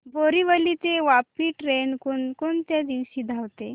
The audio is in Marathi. बोरिवली ते वापी ट्रेन कोण कोणत्या दिवशी धावते